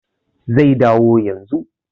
Zai dawo yanzun